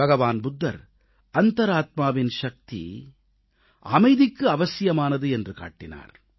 பகவான் புத்தர் அந்தராத்மாவின் சக்தி அமைதிக்கு அவசியமானது என்று காட்டினார்